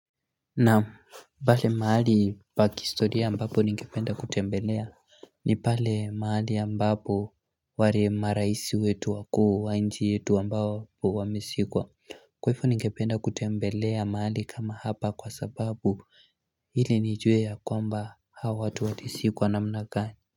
Naam pale mahali pa kihistoria ambapo ningependa kutembelea ni pale mahali ambapo wale maraisi wetu wakuu wa nchi yetu ambapo wamizikwa Kwaivo ningependa kutembelea mahali kama hapa kwa sababu hili nijue ya kwamba hawa watu walizikwa namna gani.